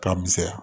K'a misɛnya